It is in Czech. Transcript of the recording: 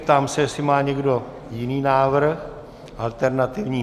Ptám se, jestli má někdo jiný návrh alternativní.